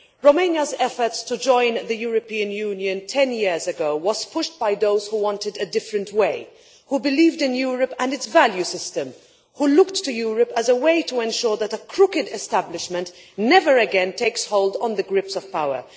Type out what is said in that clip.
Romania's efforts to join the European Union, 10 years ago, were pushed by those who wanted a different way, who believed in Europe and its value system, and who looked to Europe as a way to ensure that a crooked establishment never again gripped the reins of power.